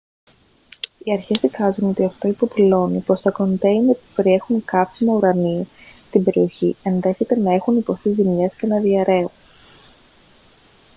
οι αρχές εικάζουν ότι αυτό υποδηλώνει πως τα κοντέινερ που περιέχουν καύσιμα ουρανίου στην περιοχή ενδέχεται να έχουν υποστεί ζημιές και να διαρρέουν